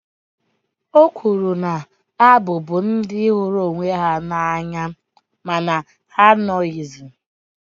O kwuru na ha bụbu ndị hụrụ onwe ha n’anya ma ha anọghịzi